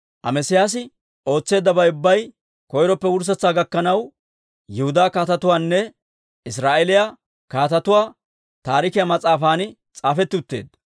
Amesiyaasi ootseeddabay ubbay, koyroppe wurssetsaa gakkanaw, Yihudaa Kaatetuwaanne Israa'eeliyaa Kaatetuwaa Taarikiyaa mas'aafan s'aafetti utteedda.